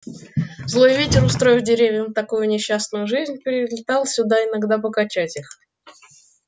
злой ветер устроив деревьям такую несчастную жизнь прилетал сюда иногда покачать их